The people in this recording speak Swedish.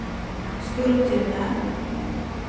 Skultuna